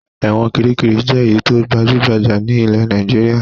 Ẹ̀wọ̀n Kiríkirì jẹ́ èyí tó gbajú-gbajà ní ilẹ̀ Nàìjíríà.